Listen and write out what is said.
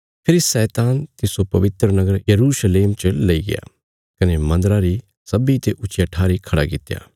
फेरी शैतान तिस्सो पवित्र नगर यरूशलेम च लेईग्या कने मन्दरा री सब्बीं ते ऊच्चिया ठारी खड़ा कित्या